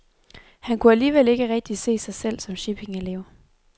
Han kunne alligevel ikke rigtig se mig selv som shippingelev.